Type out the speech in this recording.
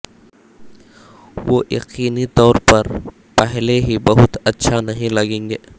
وہ یقینی طور پر پہلے ہی بہت اچھا نہیں لگیں گے